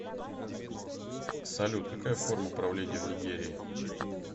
салют какая форма правления в нигерии